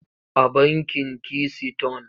A bankin kisiton.